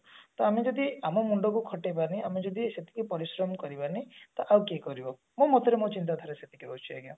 ତ ଆମେ ଯଦି ଆମ ମୁଣ୍ଡ କୁ ଖଟେଇବାନି ଆମେ ଯଦି ସେତିକି ପରିଶ୍ରମ କରିବାନି ତ ଆଉ କିଏ କରିବ ମୋ ମତରେ ମୋ ଚିନ୍ତା ଧାରା ସେତିକି ରହୁଛି ଆଜ୍ଞା